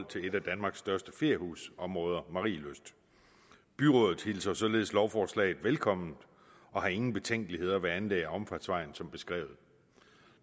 et af danmarks største feriehusområder marielyst byrådet hilser således lovforslaget velkommen og har ingen betænkeligheder ved anlæg af omfartsvejen som beskrevet